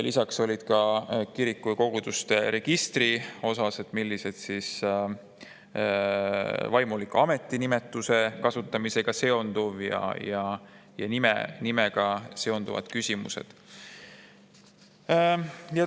Lisaks olid kirikute ja koguduste registri ning vaimuliku ametinimetuse kasutamise ja nimega seonduvad küsimused.